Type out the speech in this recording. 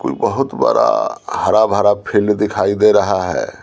कोई बहुत बड़ा हरा भरा फील दिखाई दे रहा है।